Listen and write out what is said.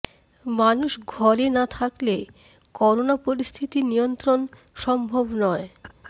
মানুষ ঘরে না থাকলে করোনা পরিস্থিতি নিয়ন্ত্রণ সম্ভব নয়